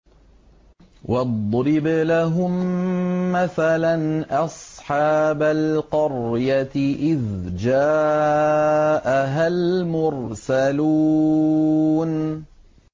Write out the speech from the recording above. وَاضْرِبْ لَهُم مَّثَلًا أَصْحَابَ الْقَرْيَةِ إِذْ جَاءَهَا الْمُرْسَلُونَ